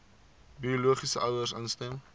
biologiese ouers instem